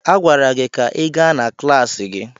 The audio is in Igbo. A gwara gị ka ị gaa na klaasị gị!